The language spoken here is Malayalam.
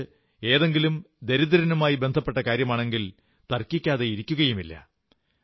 മറിച്ച് ഏതെങ്കിലും ദരിദ്രനുമായി ബന്ധപ്പെട്ട കാര്യമാണെങ്കിൽ തർക്കിക്കാതെയിരിക്കയുമില്ല